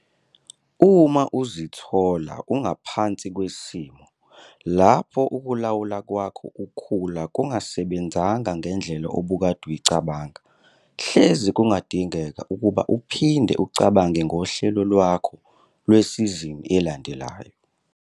Uma uzithola ungaphansi kwesimo lapho ukulawula kwakho ukhula kungasebenzanga ngendlela obukade uyicabanga, hleze kungadingeka ukuba uphinde ucabange ngohlelo lwakho lwesizini elandelayo.